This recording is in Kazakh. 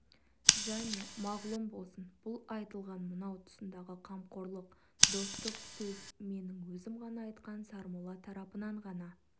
және мағлұм болсын бұл айтылған мынау тұсындағы қамқорлық достық сөз менің өзім ғана айтқан сармолла тарапынан ғана